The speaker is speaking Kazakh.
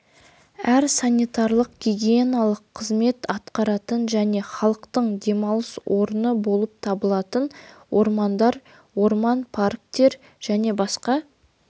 әр санитарлық-гигиеналық қызмет атқаратын және халықтың демалыс орны болып табылатын ормандар орман парктер және басқа